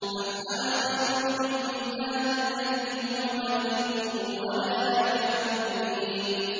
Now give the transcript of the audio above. أَمْ أَنَا خَيْرٌ مِّنْ هَٰذَا الَّذِي هُوَ مَهِينٌ وَلَا يَكَادُ يُبِينُ